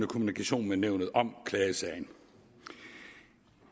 kommunikation med nævnet om klagesagen